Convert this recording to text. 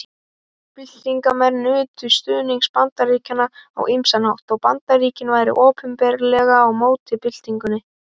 Byltingarmenn nutu stuðnings Bandaríkjanna á ýmsan hátt þó Bandaríkin væru opinberlega á móti byltingunni.